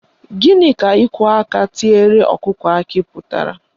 Gịnị ka ịkwọ aka tiere ọkụkọ akị pụtara?